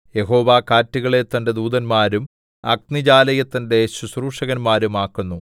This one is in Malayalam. യഹോവ കാറ്റുകളെ തന്റെ ദൂതന്മാരും അഗ്നിജ്വാലയെ തന്റെ ശുശ്രൂഷകന്മാരും ആക്കുന്നു